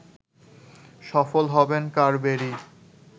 সফল হবেন কারবেরি